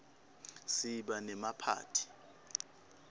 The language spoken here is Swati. siba nemaphathi